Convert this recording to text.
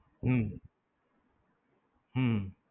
હમ